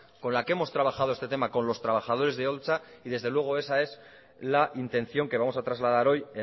con la que hemos trabajado este tema con los trabajadores de holtza y desde luego esa es la intención que vamos a trasladar hoy